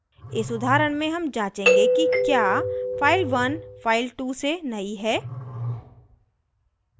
इस उदाहरण में हम जाँचेंगे कि क्या file1 file2 से नयी है